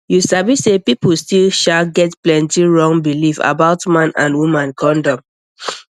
you sabi say people still sha get plenty wrong belief about man and woman condom